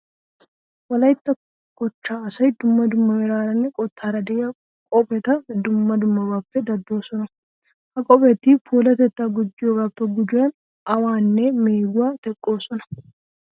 Wolaytta kochchaa asay dumma dumma meraaranne qottaara de'iya qopheta dumma dummabaappe daddoosona. Ha qopheti puulatettaa gujjiyogaappe gujuwan awaanne meeguwa teqqoosona.